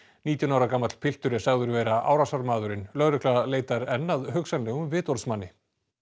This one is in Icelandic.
nítján ára gamall piltur er sagður vera árásarmaðurinn lögregla leitar enn að hugsanlegum vitorðsmanni